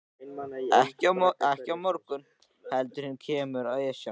Ekki á morgun heldur hinn kemur Esjan.